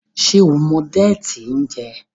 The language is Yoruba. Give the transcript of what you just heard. ṣe o mọ Déètì n jé?